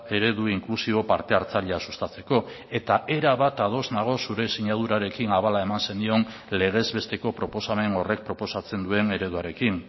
eredu inklusibo parte hartzailea sustatzeko eta erabat ados nago zure sinadurarekin abala eman zenion legez besteko proposamen horrek proposatzen duen ereduarekin